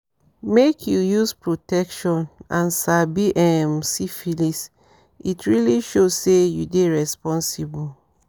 make you use protection and sabi um syphilis it really show say you dey responsible